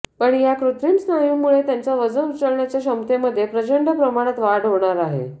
पण या कृत्रिम स्नायूंमुळे त्यांच्या वजन उचलण्याच्या क्षमतेमध्ये प्रंचड प्रमाणात वाढ होणार आहे